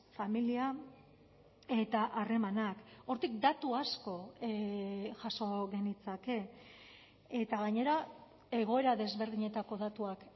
familia eta harremanak hortik datu asko jaso genitzake eta gainera egoera desberdinetako datuak